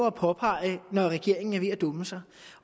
at påpege når regeringen er ved at dumme sig